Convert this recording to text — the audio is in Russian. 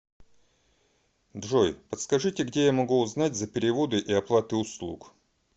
джой подскажите где я могу узнать за переводы и оплаты услуг